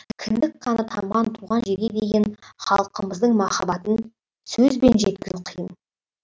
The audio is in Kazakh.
кіндік қаны тамған туған жерге деген халқымыздың махаббатын сөзбен жеткізу қиын